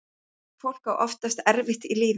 Viðkvæmt fólk á oftast erfitt í lífinu.